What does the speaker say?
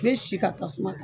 N bɛ si ka tasuma ta.